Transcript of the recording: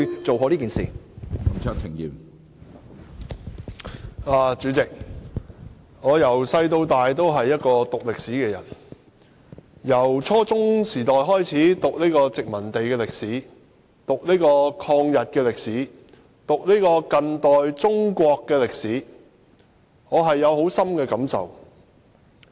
主席，我自小修讀歷史，由初中時代開始讀殖民地歷史、抗日歷史以至近代中國史，我的感受甚深。